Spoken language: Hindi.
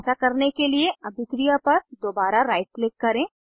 ऐसा करने के लिए अभिक्रिया पर दोबारा राइट क्लिक करें